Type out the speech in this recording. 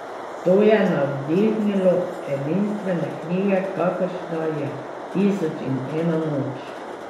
To je navdihnilo edinstvene knjige, kakršna je Tisoč in ena noč.